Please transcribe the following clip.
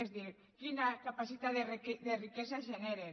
és a dir quina capacitat de riquesa generen